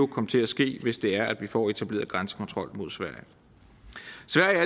komme til at ske hvis det er at vi får etableret grænsekontrol mod sverige